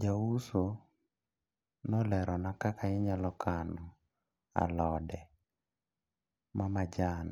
Jauso nolerona kaka inyalo kano alode mamajan